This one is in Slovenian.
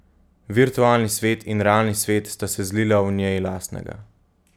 Virtualni svet in realni svet sta se zlila v njej lastnega.